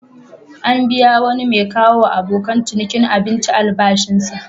An biya wani mai kawowa abokan ciniki abinci albashinsa.